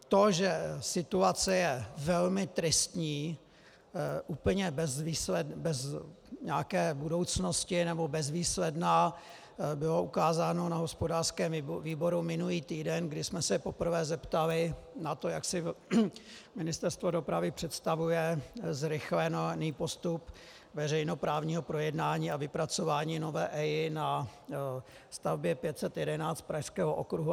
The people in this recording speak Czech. To, že situace je velmi tristní, úplně bez nějaké budoucnosti nebo bezvýsledná, bylo ukázáno na hospodářském výboru minulý týden, kdy jsme se poprvé zeptali na to, jak si Ministerstvo dopravy představuje zrychlený postup veřejnoprávního projednání a vypracování nové EIA na stavbě 511 Pražského okruhu.